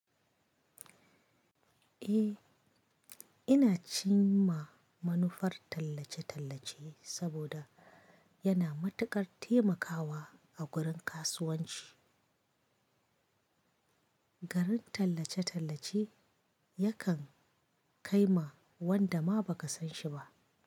Eh, ina cin ma manufar tallace-tallace saboda yana matuƙar taimakawa a gurin kasuwanci. Garin tallace-tallace yakan kai ma wanda ma ba ka san shi ba.